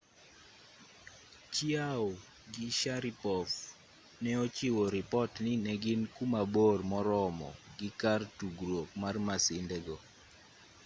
chiao gi sharipov ne ochiwo ripot ni ne gin ku mabor moromo gi kar tugruok mar masindego